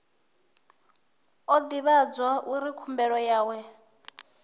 o ivhadzwa uri khumbelo yawe